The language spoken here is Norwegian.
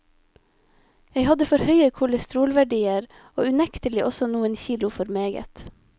Jeg hadde for høye kolesterolverdier og unektelig også noen kilo for meget.